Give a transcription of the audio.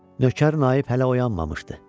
Nökər Naib hələ oyanmamışdı.